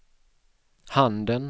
handen